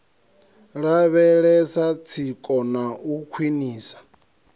lavhelesa tsiko na u khwiniswa